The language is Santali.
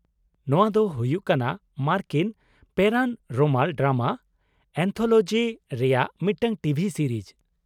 ᱱᱚᱶᱟ ᱫᱚ ᱦᱩᱭᱩᱜ ᱠᱟᱱᱟ ᱢᱟᱨᱠᱤᱱ ᱯᱮᱨᱟᱱᱨᱚᱢᱟᱞ ᱰᱨᱟᱢᱟ ᱮᱱᱛᱷᱚᱞᱚᱡᱤ ᱨᱮᱭᱟᱜ ᱢᱤᱫᱴᱟᱝ ᱴᱤᱵᱷᱤ ᱥᱤᱨᱤᱡ ᱾